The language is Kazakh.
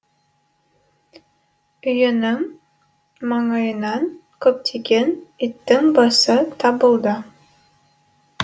үйінің маңайынан көптеген иттің басы табылды